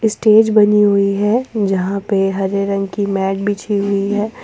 Stage बनी हुई है जहां पे हरे रंग की मैट बिछी हुई है।